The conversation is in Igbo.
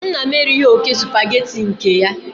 Nna m erighị oke Supagetii nke ya